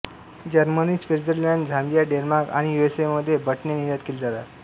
Germany Switzerland Zambia Denmark आणि USA मध्ये बटणे निर्यात केली जातात